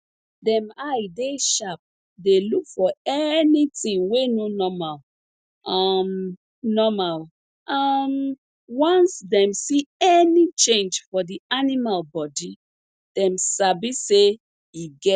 dem eye dey sharp dey look for anytin wey no normal um normal um once dem see any change for di animal bodi dem sabi say e get